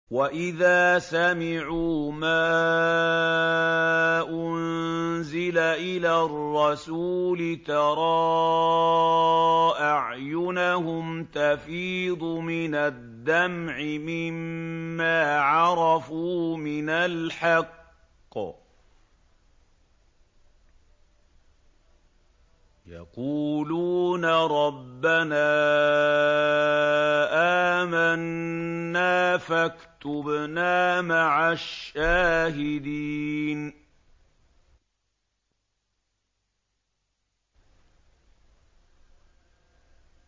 وَإِذَا سَمِعُوا مَا أُنزِلَ إِلَى الرَّسُولِ تَرَىٰ أَعْيُنَهُمْ تَفِيضُ مِنَ الدَّمْعِ مِمَّا عَرَفُوا مِنَ الْحَقِّ ۖ يَقُولُونَ رَبَّنَا آمَنَّا فَاكْتُبْنَا مَعَ الشَّاهِدِينَ